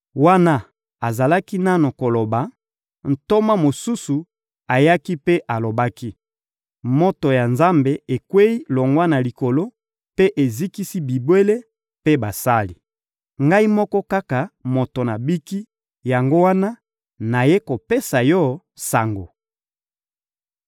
Wana azalaki nanu koloba, ntoma mosusu ayaki mpe alobaki: «Moto ya Nzambe ekweyi longwa na likolo mpe ezikisi bibwele mpe basali! Ngai moko kaka moto nabiki; yango wana nayei kopesa yo sango!»